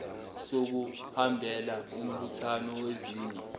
sokuhambela umbuthano wezinye